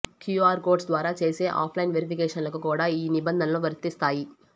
QR codes ద్వారా చేసే offline వెరిఫికేషన్లకు కూడా ఈ నిబంధనలు వర్తిస్తాయి